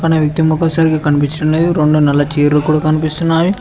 పక్కన వ్యక్తి మొఖం సరిగా కనిపించడం లేదు రొండు నల్ల చేర్లు కూడ కనిపిస్తున్నాయి.